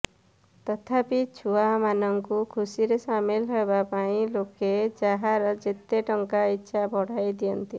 ତଥାପି ଛୁଆ ମାନଙ୍କୁ ଖୁସିରେ ସାମିଲ୍ ହେବାପାଇଁ ଲୋକେ ଯାହାର ଯେତେ ଟଙ୍କା ଇଚ୍ଛା ବଢ଼ାଇ ଦିଅନ୍ତି